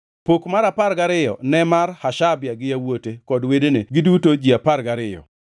Pok mar apar gariyo ne mar Hashabia gi yawuote kod wedene, giduto ji apar gariyo,